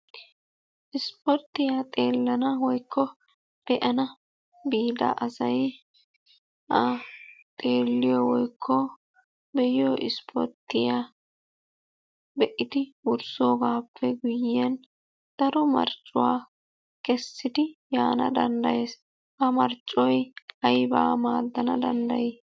Ispporttiya xeellana woykko be'ana biida asay xeelliyo woykko be'iyo ispporttiya be'idi wurssoogaappe guyyiyan daro marccuwa kessidi yaana danddayees. Ha marccoy aybaa maaddana dandday?